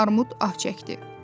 Armud ah çəkdi.